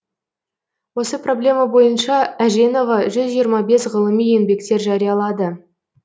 осы проблема бойынша әженова жүз жиырма бес ғылыми еңбектер жариялады